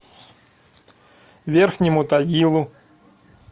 верхнему тагилу